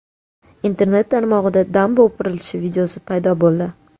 Internet tarmog‘ida damba o‘pirilishi videosi paydo bo‘ldi.